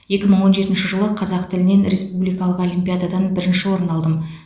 екі мың он жетінші жылы қазақ тілінен республикалық олимпиададан бірінші орын алдым